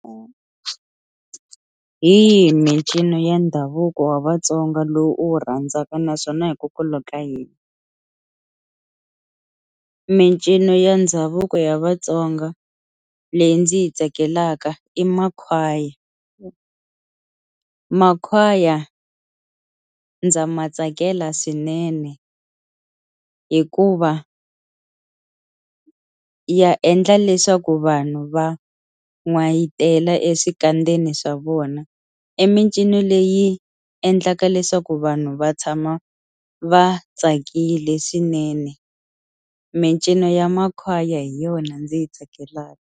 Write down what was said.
Hi yihi mincino ya ndhavuko wa vaTsonga lowu u wu rhandzaka naswona hikokwalaho ka yini mincino ya ndhavuko ya vatsonga leyi ndzi yi tsakelaka i makhwaya makhwaya ndza ma tsakela swinene hikuva ya endla leswaku vanhu va n'wayitela exikandzeni swa vona i mincino leyi endlaka leswaku vanhu va tshama va tsakile swinene mincino ya makhwaya hi yona ndzi yi tsakelaka.